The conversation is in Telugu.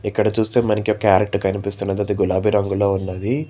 ఇక్కడ చూస్తే మనకి క్యారెట్ కనిపిస్తున్నది అది గులాబీ రంగులో ఉన్నది.